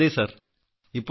അതെ സർ അതെ സർ